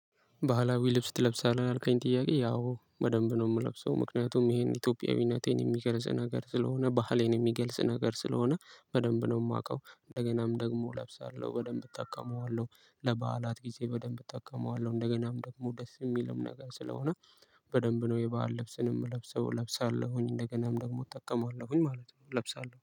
ባህላዊ ልብስ ትለብሳለህ ላልከኝ ጥያቄ ያው በደንብ ነው የምለብሰው ምክንያቱም ይሄን ኢትዮጵያዊነቴን የሚገልጽ ነገር ስለሆነ ባህሌን የሚገልጽ ነገር ስለሆነ በደንብ ነው የማውቀው እንደገናም ደግሞ እለብሳለሁ በደንብ እጠቀመዋለሁ። ለበዓላት ጊዜ በደንብ እጠቀመዋለሁ እንደገናም ደግሞ ደስ የሚልም ነገር ስለሆነ። በደንብ ነው የበአል ልብስን እምለብሰው ለብሳለሁኝ እንደገናም ደግሞ እጠቀማለሁኝ ማለት ነው። እለብሳለሁ